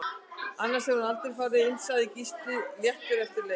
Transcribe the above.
Annars hefði hann aldrei farið inn Sagði Gísli léttur eftir leik